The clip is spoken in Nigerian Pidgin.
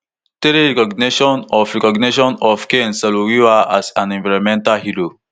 three recognition of recognition of ken sarowiwa as an environmental hero